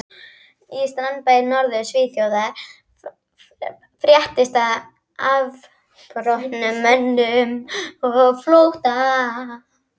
Í strandbæ í Norður-Svíþjóð fréttist af afbrotamönnum á flótta.